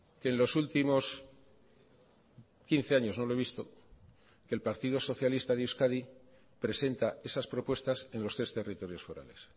que en los últimos quince años no lo he visto que el partido socialista de euskadi presenta esas propuestas en los tres territorios forales